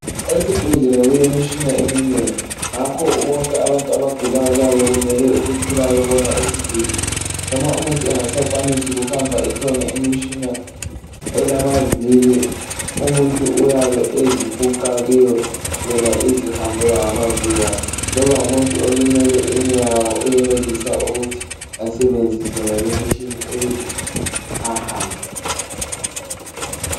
Esibhedlela kulemitshina eminengi ngakho bonke abantu abagulayo kumele baye bona isibhedlela noma umuntu engasakwanisi ukuhamba ikhona imitshina umuntu uyabe ezifuqa kiyo yona izihambela ngamavili ayo, loba ngumuntu olimele inyawo uyenelisa ukubenzisa yonale imitshina ukuze ahambe.